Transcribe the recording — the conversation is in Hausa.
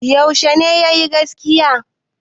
Yaushe ne ya yi gaskiya?